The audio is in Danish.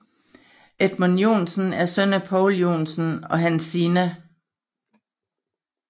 Edmund Joensen er søn af Poul Joensen og Hansina f